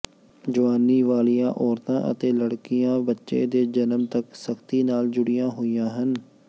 ਜਵਾਨੀ ਵਾਲੀਆਂ ਔਰਤਾਂ ਅਤੇ ਲੜਕੀਆਂ ਬੱਚੇ ਦੇ ਜਨਮ ਤੱਕ ਸਖਤੀ ਨਾਲ ਜੁੜੀਆਂ ਹੋਈਆਂ ਹਨ